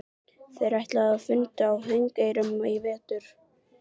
Þeir ætluðu að funda á Þingeyrum í vetur.